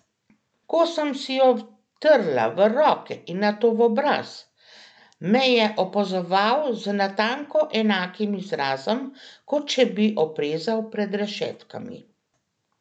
Ko sem si jo vtrla v roke in nato v obraz, me je opazoval z natanko enakim izrazom, kot če bi oprezal pred rešetkami.